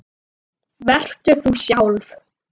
Vertu þú sjálf.